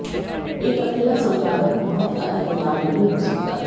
एक अकेला संपादक बहुत अधिक उदार नहीं हो सकता है